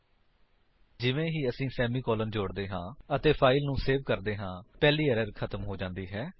ਧਿਆਨ ਦਿਓ ਕਿ ਜਿਵੇਂ ਹੀ ਅਸੀ ਸੇਮੀਕਾਲਨ ਜੋੜਦੇ ਹਾਂ ਅਤੇ ਫਾਇਲ ਨੂੰ ਸੇਵ ਕਰਦੇ ਹਾਂ ਪਹਿਲੀ ਏਰਰ ਖਤਮ ਹੋ ਜਾਂਦੀ ਹੈ